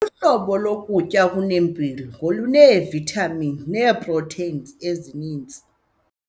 Uhlobo lokutya okunempilo ngoluneevithamini neeprotheyini ezininzi.